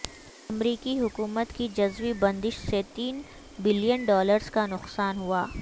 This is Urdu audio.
امریکی حکومت کی جزوی بندش سے تین بلین ڈالرز کا نقصان ہوا